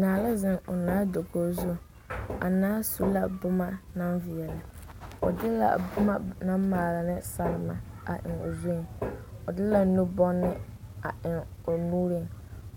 Naa la zeŋ o naa dakogi zu, a naa su la boma naŋ veɛlɛ, o de la a boma naŋ maale ne salema a eŋ o zuiŋ, o de la nu-bonne a eŋ o nuuriŋ,